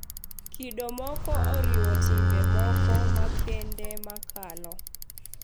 Kido moko oriwo timbe moko makende makalo,